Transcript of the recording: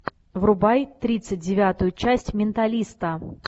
врубай тридцать девятую часть менталиста